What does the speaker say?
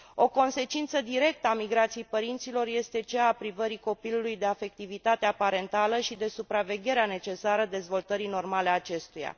O consecință directă a migrației părinților este cea a privării copilului de afectivitatea parentală și de supravegherea necesară dezvoltării normale a acestuia.